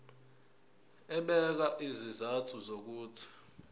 ebeka izizathu zokuthi